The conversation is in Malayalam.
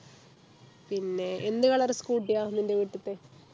പിന്നെ എന്ത് color scooty ആ നിൻ്റെ വീട്ടിത്തെ